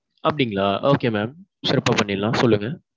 அப்பிடீங்களா okay mam. சிறப்பா பண்ணிடலாம் சொல்லுங்க.